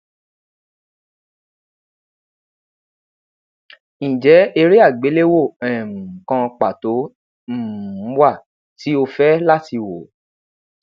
njẹ ere agbelewo um kan pato um wa ti o fẹ lati wo